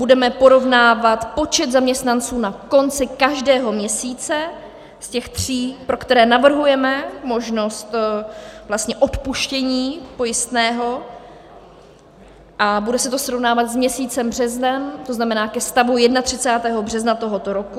Budeme porovnávat počet zaměstnanců na konci každého měsíce z těch tří, pro které navrhujeme možnost odpuštění pojistného, a bude se to srovnávat s měsícem březnem, to znamená ke stavu 31. března tohoto roku.